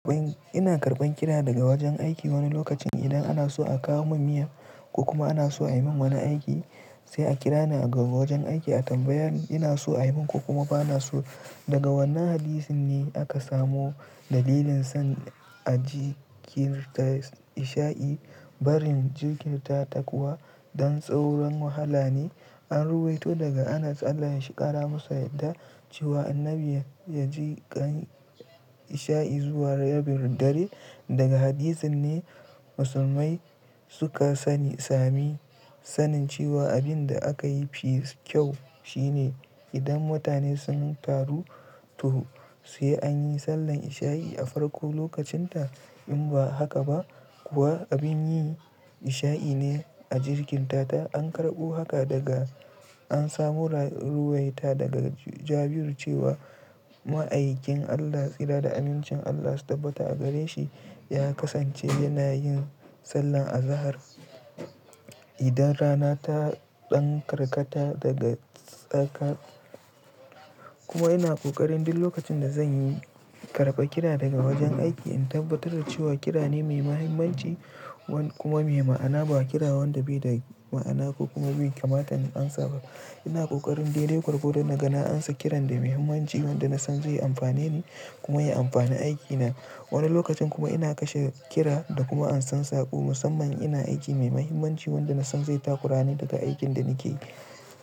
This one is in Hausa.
Ina karɓan kira daga wajen aiki wani lokacin idan ana so a kawo min miya ko kuma ana so a yi min wani aiki sai a kira ni a ga wajen aiki a tambaye ni ina so a yi min ko kuma ba na so. Daga wanne hadisin ne aka samo dalilin son a ji kirta isha'i bari jirginta takuwa don tsauran wahala ne? An ruwaito daga Anas Allah ya shiqara masa yadda cewa annabi ya ji kan isha'i zuwa Yabirdare. Daga hadisin ne musulmai suka sani sami sanin cewa abin da aka yi fi kyau shine idan mutane sun taru toh sai an yi sallar isha'i a farko lokacin ta. In ba haka ba kuwa abin yi isha'i ne a jirginta ta. An karɓu haka daga an samu ruwaita daga Jabiru cewa ma'aikin Allah tsira da amincin Allah su tabbata a gare shi ya kasance yana yin sallah a zahar idan rana ta ɗan karkata daga tsaka. Kuma ina ƙoƙarin duk lokacin da zan yi karɓa kira daga wajen aiki in tabbatar da cewa kira ne mai mahimmanci wanda kuma mai ma'ana ba kira wanda bai da ma'ana ko kuma bai kamata in amsa ba. Ina ƙoƙarin dai-dai gwargwar do naga an sa kiran da mahimmanci wanda na san zai yi amfani ni kuma ya yi amfani aikina. Wani lokacin kuma ina kashe kira da kuma an san saƙo musamman ina aiki mai mahimmanci wanda na san zai takurani daga aikin da nake yi.